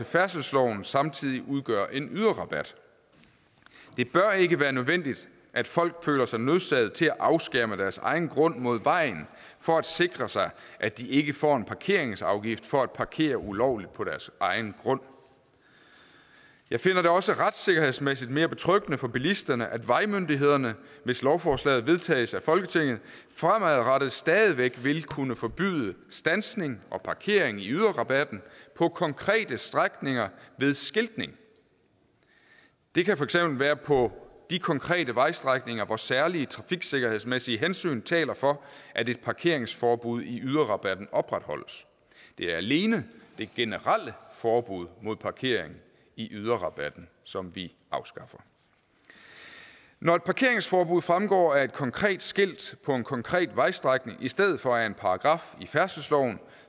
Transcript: færdselsloven samtidig udgør en yderrabat det bør ikke være nødvendigt at folk føler sig nødsaget til at afskærme deres egen grund mod vejen for at sikre sig at de ikke får en parkeringsafgift for at parkere ulovligt på deres egen grund jeg finder det også retssikkerhedsmæssigt mere betryggende for bilisterne at vejmyndighederne hvis lovforslaget vedtages i folketinget fremadrettet stadig væk vil kunne forbyde standsning og parkering i yderrabatten på konkrete strækninger ved skiltning det kan for eksempel være på de konkrete vejstrækninger hvor særlige trafiksikkerhedsmæssige hensyn taler for at et parkeringsforbud i yderrabatten opretholdes det er alene det generelle forbud mod parkering i yderrabatten som vi afskaffer når parkeringsforbuddet fremgår af et konkret skilt på en konkret vejstrækning i stedet for af en paragraf i færdselsloven